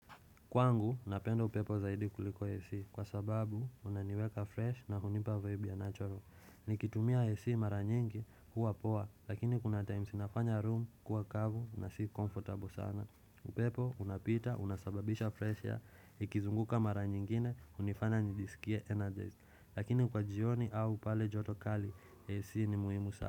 Kwangu, napenda upepo zaidi kuliko AC kwa sababu unaniweka fresh na hunipa vaibu ya natural. Nikitumia AC mara nyingi huwa poa lakini kuna times nafanya room kuwa kavu na si comfortable sana. Upepo, unapita, unasababisha fresh air, ikizunguka mara nyingine, unifanya nijisikie energized. Lakini kwa jioni au pale joto kali, AC ni muhimu saa.